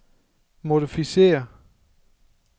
modificér